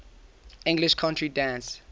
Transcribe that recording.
english country dance